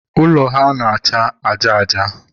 ụlọ ha na-acha aja aja.